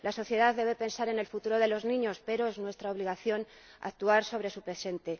La sociedad debe pensar en el futuro de los niños, pero es nuestra obligación actuar sobre su presente.